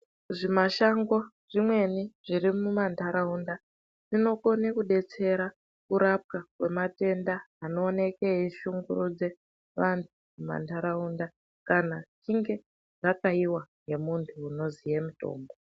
Zvimashango zvimweni zviri mumantaraunda zvinokone kudetsera kurapwa kwematenda anooneke eishungurudze vantu mumantaraunda kana yechinge yakayiwa nemuntu unoziye mutombo.